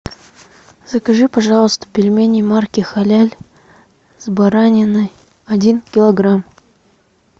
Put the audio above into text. закажи пожалуйста пельмени марки халяль с бараниной один килограмм